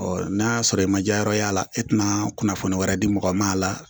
n'a y'a sɔrɔ i ma diyayɔrɔ y'a la e tɛna kunnafoniya wɛrɛ di mɔgɔ ma a la